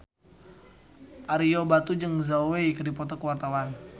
Ario Batu jeung Zhao Wei keur dipoto ku wartawan